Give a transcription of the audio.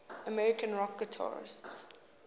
american rock guitarists